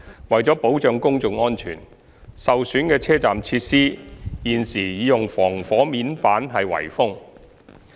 為保障公眾安全，受損的車站設施現已用防火面板圍封。